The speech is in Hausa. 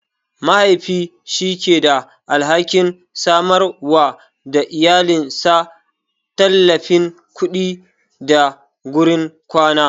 Mahaifi shi yake da alhakin samarwa da iyalinsa tallafin kuɗi da gurin kwana.